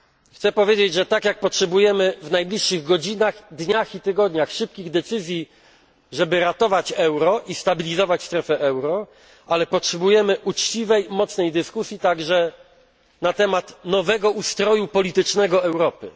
Chcę powiedzieć, że tak jak potrzebujemy w najbliższych godzinach, dniach i tygodniach szybkich decyzji, żeby ratować euro i stabilizować strefę euro, tak potrzebujemy uczciwej, mocnej dyskusji także na temat nowego ustroju politycznego Europy.